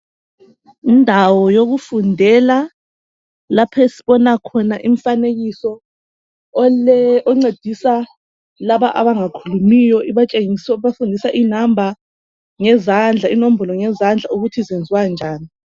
Indawo yokufundela lapho esibona umfanekiso oncedisa laba abangakhulumiyo ibafundisa inombolo ngezandla ukuthi zenziwa njani.